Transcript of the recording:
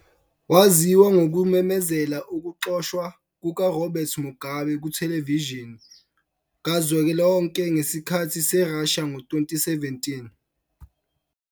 Waziwa ngokumemezela ukuxoshwa kukaRobert Mugabe kuthelevishini kazwelonke ngesikhathi seRussia ngo- 2017.